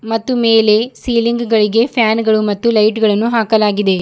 ಮತ್ತೆ ಮೇಲೆ ಸಿಲಿಂಗ್ ಗಳಿಗೆ ಫ್ಯಾನ್ ಗಳು ಮತ್ತು ಲೈಟ್ ಗಳನ್ನು ಹಾಕಲಾಗಿದೆ.